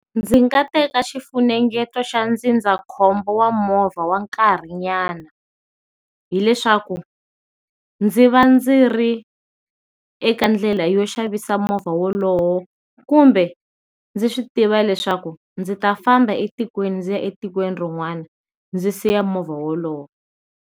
Ndzi nga teka xifunengeto xa ndzindzakhombo wa movha wa nkarhinyana, hileswaku ndzi va dzi ri eka ndlela yo xavisa movha wolowo, kumbe ndzi swi tiva leswaku ndzi ta famba etikweni ndzi ya etikweni rin'wana ndzi siya movha wolowo.